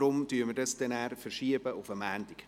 Deshalb verschieben wir das auf Montag.